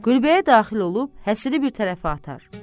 Gülbəyə daxil olub həsiri bir tərəfə atar.